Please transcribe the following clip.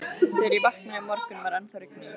Þegar ég vaknaði í morgun, var ennþá rigning.